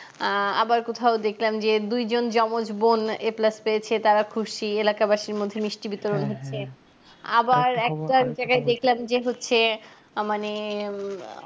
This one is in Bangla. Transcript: আহ আবার কোথাও দেখলাম যে দুইজন যমজ বোন a plus পেয়েছে তারা খুশি এলাকা বাসীর মধ্যে মিষ্টি বিতরণ হচ্ছে আবার যে হচ্ছে মানে উম আহ